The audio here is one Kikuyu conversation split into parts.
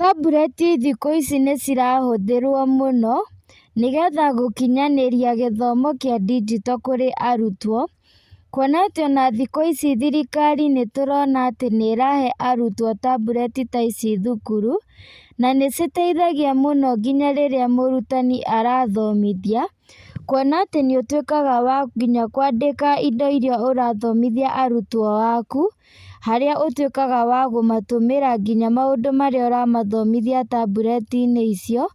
Tambureti thikũ ici nĩcirahũthĩrwo mũno, nĩgetha gũkinyanĩria gĩthomo kĩa ndigijito kũrĩ arutwo, kuona atĩ ona thikũ ici thirikari nĩtũrona atĩ nĩrahe arutwo tambureti ta ici thukuru, na nĩciteithagia mũno nginya rĩrĩa mũrutani arathomithia, kuona atĩ nĩũtuĩkaga wa nginya kwandĩka indo iria ũrathomithia arutwo aku, harĩa ũtuĩkaga wa kũmatũmĩra ngĩnya maũndũ marĩa ũramathomithia tamburetinĩ icio,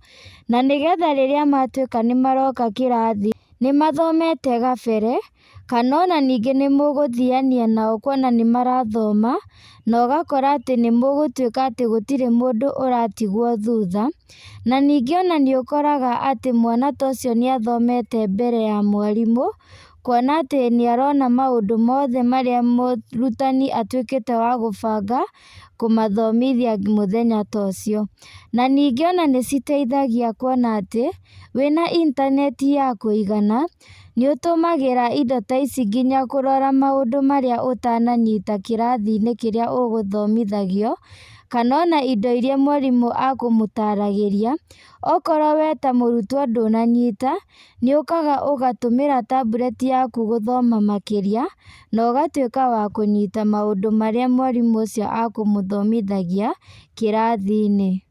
na nĩgetha rĩrĩa matuĩka nĩmaroka kĩrathi nĩmathomete gabere, kana ona ningĩ nĩmũgathiania nao kuona nĩmarathoma, na ũgakora atĩ nĩmũgũtuĩka atĩ gũtirĩ mũndũ ũratigwo thutha, na ningĩ ona nĩũkoraga atĩ mwana ta ũcio nĩathomete mbere ya mwarimũ, kuona atĩ nĩarona maũndũ mothe marĩa mũrutani atuĩkĩte wa gũbanga, kũmathomithia mũthenya ta ũcio. Na ningĩ ona nĩciteithagia kuona atĩ, wĩna intaneti yakũigana, nĩũtũmagĩra indo ta ici nginya kũrora maũndũ marĩa ũtananyita kĩrathinĩ kĩrĩa ũgũthomithagio, kana ona indo iria mwarimũ akũmũtaragĩria, okorwo we ta mũrutwo ndũnanyita, nĩũkaga ũgatũmĩra tambureti yaku gũthoma makĩria, na ũgatuĩka wa kũnyita maũndũ marĩa mwarimũ ũcio akũmũthomithagia, kĩrathinĩ.